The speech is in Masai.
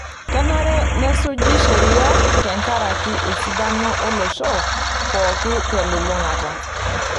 Kenare nesuji sheria tenkaraki esidano olosho pookin telulung'ata.